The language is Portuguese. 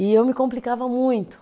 E eu me complicava muito.